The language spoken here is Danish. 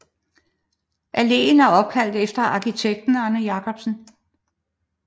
Alléen er opkaldt efter arkitekten Arne Jacobsen